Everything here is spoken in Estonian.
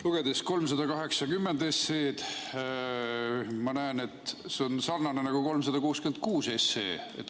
Lugedes eelnõu 380, ma näen, et see on sarnane eelnõuga 366.